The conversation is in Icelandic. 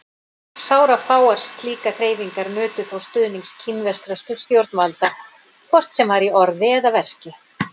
Sárafáar slíkar hreyfingar nutu þó stuðnings kínverskra stjórnvalda, hvort sem var í orði eða verki.